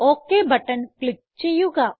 okay button click ചെയ്യുക